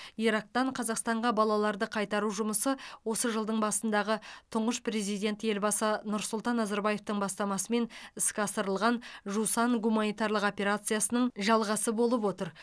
ирактан қазақстанға балаларды қайтару жұмысы осы жылдың басындағы тұңғыш президент елбасы нұрсұлтан назарбаевтың бастамасымен іске асырылған жусан гуманитарлық операциясының жалғасы болып отыр